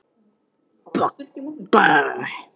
Hún virtist láta sér svarið í léttu rúmi liggja.